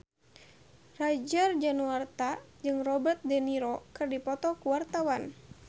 Roger Danuarta jeung Robert de Niro keur dipoto ku wartawan